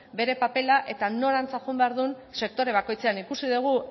bere papera eta norantz joan behar duen sektore bakoitzean ikusi dugu